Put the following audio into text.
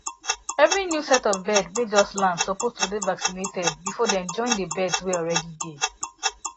every new set of bird way just land suppose to dey vaccinated before dem join the birds way already dey